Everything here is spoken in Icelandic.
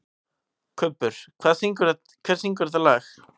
Kubbur, hver syngur þetta lag?